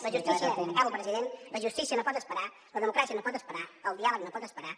la justícia acabo president no pot esperar la democràcia no pot esperar el diàleg no pot esperar